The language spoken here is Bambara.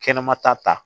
Kɛnɛma ta ta